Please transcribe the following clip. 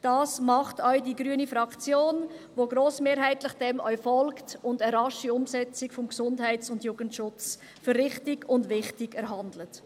So macht es auch die grüne Fraktion, welche dem grossmehrheitlich folgt und eine rasche Umsetzung des Gesundheits- und Jugendschutzes für richtig und wichtig hält.